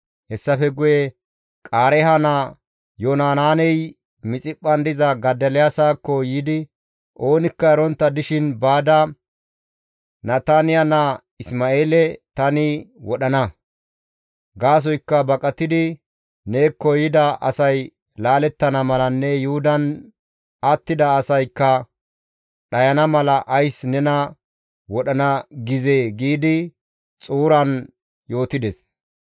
Hessafe guye Qaareeha naa Yohanaaney Mixiphphan diza Godoliyaasakko yiidi, «Oonikka erontta dishin baada Nataniya naa Isma7eele tani wodhana; gaasoykka baqatidi neekko yida asay laalettana malanne Yuhudan attida asaykka dhayana mala ays nena wodhana gizee?» giidi xuuran yootides.